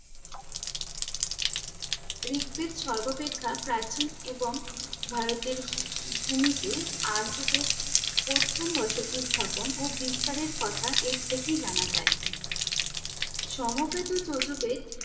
ঋক বেদ সর্বাপেক্ষা প্রাচীন এবং ভারতের ভু~ ভূমিতে আর্যদের প্রথম বসতি স্থাপন ও বিস্তারের কথা এর থেকেই জানা যায়। সম বেদ ও য়জুঃ বেদ